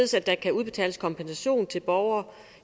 så der kan udbetales kompensation til borgere